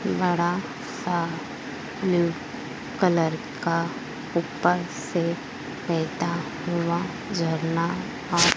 बड़ा सा blue colour का ऊपर से बहेता हुआ झरना आ--